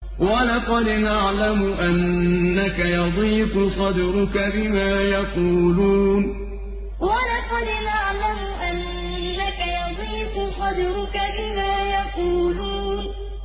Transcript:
وَلَقَدْ نَعْلَمُ أَنَّكَ يَضِيقُ صَدْرُكَ بِمَا يَقُولُونَ وَلَقَدْ نَعْلَمُ أَنَّكَ يَضِيقُ صَدْرُكَ بِمَا يَقُولُونَ